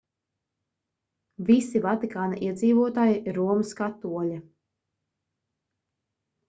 visi vatikāna iedzīvotāji ir romas katoļi